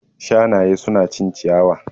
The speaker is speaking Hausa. Shanaye su na cin ciyawa